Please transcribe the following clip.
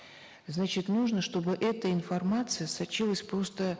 значит нужно чтобы эта информация сочилась просто